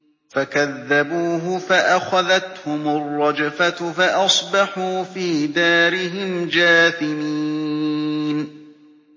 فَكَذَّبُوهُ فَأَخَذَتْهُمُ الرَّجْفَةُ فَأَصْبَحُوا فِي دَارِهِمْ جَاثِمِينَ